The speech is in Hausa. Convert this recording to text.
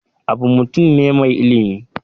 Abu mutum ne mai ilimi.